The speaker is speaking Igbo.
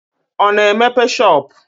Ọ na-emepe shọopụ?